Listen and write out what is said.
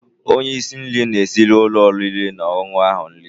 Onye isi nri na-esiri ụlọ oriri na ọṅụṅụ ahụ nri.